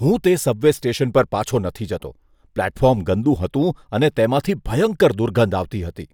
હું તે subway station પર પાછો નથી જતો. પ્લેટફોર્મ ગંદુ હતું અને તેમાંથી ભયંકર દુર્ગંધ આવતી હતી.